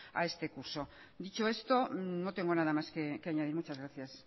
a este curso dicho esto no tengo nada más que añadir muchas gracias